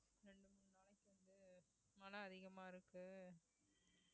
ரெண்டு மூணு நாளைக்கு வந்து மழை அதிகமா இருக்கு